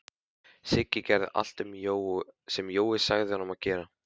Siggi gerði allt sem Jói sagði honum að gera.